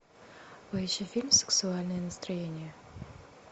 поищи фильм сексуальное настроение